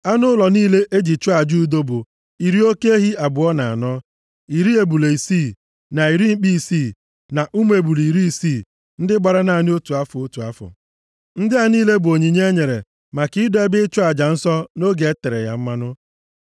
Anụ ụlọ niile e ji chụọ aja udo bụ, iri oke ehi abụọ na anọ, na iri ebule isii, na iri mkpi isii, na ụmụ ebule iri isii ndị gbara naanị otu afọ, otu afọ. Ndị a niile bụ onyinye e nyere maka ido ebe ịchụ aja nsọ nʼoge e tere ya mmanụ.